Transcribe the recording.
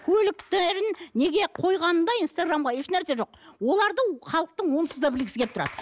көліктерін неге қойғанда инстаграмға ешнәрсе жоқ оларды халықтың онсыз да білгісі келіп тұрады